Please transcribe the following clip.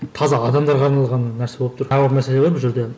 таза адамдарға арналған нәрсе болып тұр тағы бір мәселе бар бұл жерде